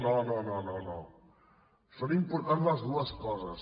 no no no són importants les dues coses